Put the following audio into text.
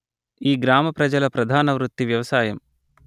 ఈ గ్రామ ప్రజల ప్రధాన వృత్తి వ్యవసాయం